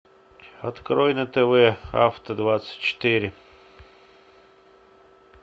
открой на тв авто двадцать четыре